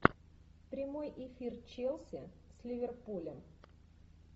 прямой эфир челси с ливерпулем